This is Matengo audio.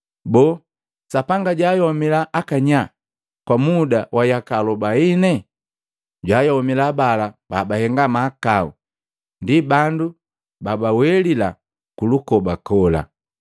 Boo, Sapanga jwaayomila akanyaa kwa muda wa yaka alobaine? Jwaayomila bala babahenga mahakau, ndi bandu babawelila kulukoba kola.